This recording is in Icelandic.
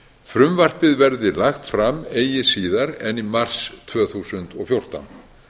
frumvarpið verði lagt fram eigi síðar en í mars tvö þúsund og fjórtán